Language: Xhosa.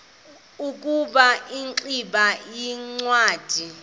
ukuba ingximba yincwadi